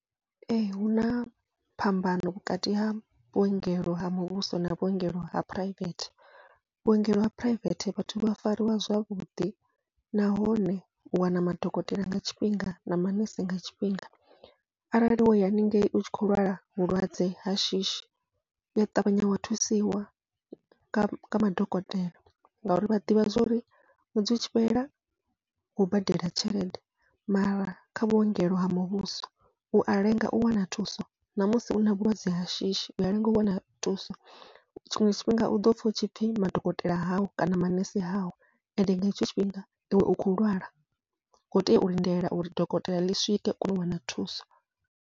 Ee huna phambano vhukati ha vhuongelo ha muvhuso na vhuongelo ha phuraivethe, vhuongelo ha phuraivethe vhathu vha fariwa zwavhuḓi nahone u wana madokotela nga tshifhinga na manese nga tshifhinga, arali woya haningei utshi kho lwala vhulwadze ha shishi uya ṱavhanya wa thusiwa nga madokotela, ngauri vha ḓivha zwori ṅwedzi utshi fhela wo badela tshelede. Mara kha vhuongelo ha muvhuso ua lenga u wana thuso, namusi u na vhulwadze ha shishi ua lenga u wana thuso tshiṅwe tshifhinga u ḓopfha hutshipfhi madokotela haho kana manese haho, ende nga hetsho tshifhinga iwe u kho lwala u khou tea u lindela uri dokotela ḽi swike u kone u wana thuso.